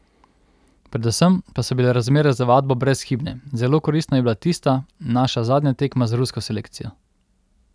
Predvsem pa so bile razmere za vadbo brezhibne, zelo koristna je bila tista naša zadnja tekma z rusko selekcijo.